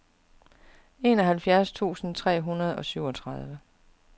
enoghalvfjerds tusind tre hundrede og syvogtredive